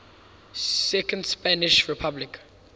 second spanish republic